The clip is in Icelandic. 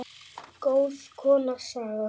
Góð kona, Saga.